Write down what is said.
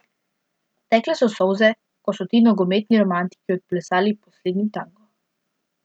Tekle so solze, ko so ti nogometni romantiki odplesali poslednji tango.